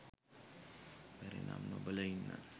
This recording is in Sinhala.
බැරි නම් නොබලා ඉන්න